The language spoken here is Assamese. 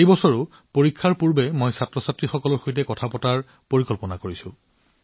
এই বছৰো পৰীক্ষাৰ আগতে মই শিক্ষাৰ্থীসকলৰ সৈতে আলোচনা কৰাৰ পৰিকল্পনা কৰি আছো